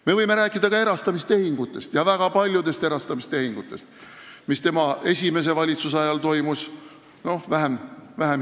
Me võime rääkida ka erastamistehingutest, väga paljudest erastamistehingutest, mis tema esimese valitsuse ajal toimusid, hiljem oli neid vähem.